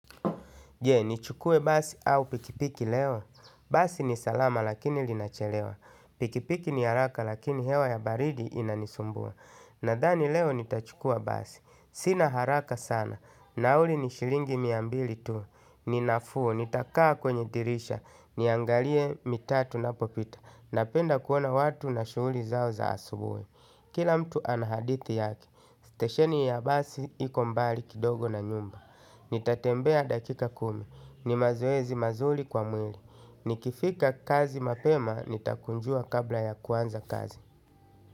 Je, nichukue basi au pikipiki leo? Basi ni salama lakini linachelewa. Pikipiki ni haraka lakini hewa ya baridi inanisumbua. Nadhani leo nitachukua basi. Sina haraka sana. Nauli ni shilingi mia mbili tu. Ni nafuu. Nitakaa kwenye dirisha. Niangalie mitaa tunapopita. Napenda kuona watu na shughuli zao za asubuhi. Kila mtu ana hadithi yake, stesheni ya basi iko mbali kidogo na nyumba. Nitatembea dakika kumi, ni mazuozi mazuri kwa mwili. Nikifika kazi mapema, nitakunjua kabla ya kuanza kazi.